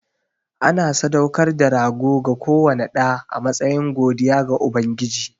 Ana sadaukar da rago ga kowane ɗa a matsayin godiya ga Ubangiji.